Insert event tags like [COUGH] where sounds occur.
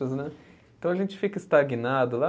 [UNINTELLIGIBLE] Né. Então a gente fica estagnado lá.